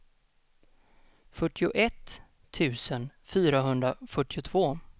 fyrtioett tusen fyrahundrafyrtiotvå